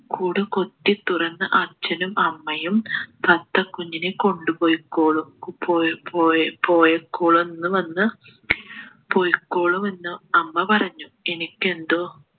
കൂട് കുത്തി തുറന്ന് അച്ഛനും അമ്മയും തത്ത കുഞ്ഞിനെ കൊണ്ടുപോയി കൊള്ളും പോയി പോയി പോയിക്കോളും എന്ന് വന്ന് പൊയ്‌ക്കോളുമെന്ന് അമ്മ പറഞ്ഞു എനിക്ക് എന്തോ